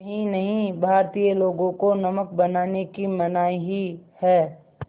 यही नहीं भारतीय लोगों को नमक बनाने की मनाही है